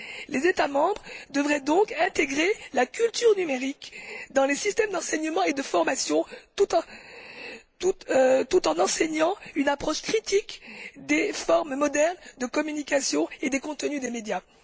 Les États membres devraient donc, ensuite, intégrer la culture numérique dans les systèmes d'enseignement et de formation, tout en enseignant une approche critique des formes modernes de communication et des contenus des médias.